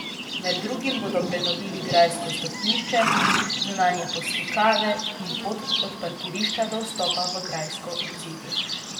Med drugim bodo prenovili grajsko stopnišče, zunanje poslikave in pot od parkirišča do vstopa v grajsko obzidje.